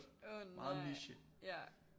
Åh nej ja